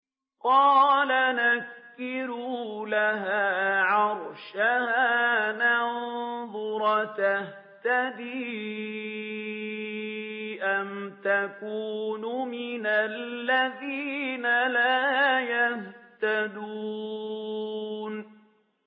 قَالَ نَكِّرُوا لَهَا عَرْشَهَا نَنظُرْ أَتَهْتَدِي أَمْ تَكُونُ مِنَ الَّذِينَ لَا يَهْتَدُونَ